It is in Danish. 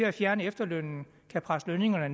at fjerne efterlønnen kan presse lønningerne